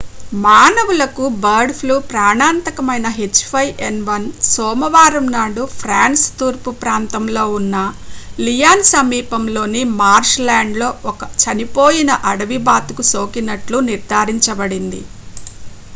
మానవులకు bird flu ప్రాణాంతకమైన h5n1 సోమవారం నాడు ఫ్రాన్స్ తూర్పుప్రాంతంలో ఉన్న లియాన్ సమీపంలోని మార్ష్ ల్యాండ్ లో ఒక చనిపోయిన అడవి బాతుకు సోకినట్లు నిర్ధారించబడింది